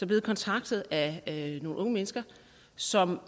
blevet kontaktet af nogle unge mennesker som